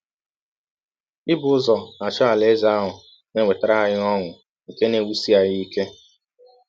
Ibụ ụzọ achọ Alaeze ahụ na - ewetara anyị ọṅụ nke na - ewụsi anyị ike.